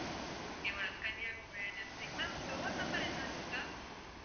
ஆஹ் okay madam Kanniyakumari district ma'am door number ஏதாவது இருக்கா?